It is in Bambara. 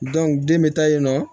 den bɛ taa yen nɔ